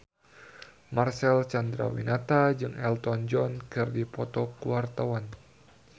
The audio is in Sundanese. Marcel Chandrawinata jeung Elton John keur dipoto ku wartawan